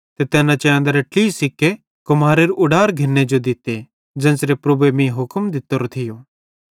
ते तैन चैंदरे ट्लही सिक्केइं सेइं कुम्हारेरू उडार घिन्ने जो दित्ते ज़ेन्च़रे प्रभुए मीं हुक्म दित्तोरो थियो